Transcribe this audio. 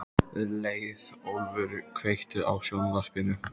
Leiðólfur, kveiktu á sjónvarpinu.